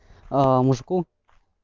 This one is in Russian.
а мужыку